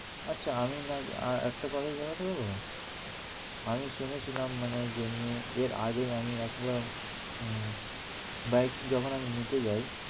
আচ্ছা আমি নাই একটা কথা জানতে পারবে? আমি শুনেছিলাম মানে যেমনি এর আগে আমি আসলাম হম bike আমি যখন নিতে যাই